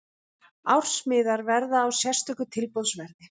Ársmiðar verða á sérstöku tilboðsverði.